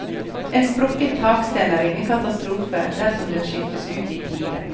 En sprukket taksten er ingen katastrofe dersom den skiftes ut i tide.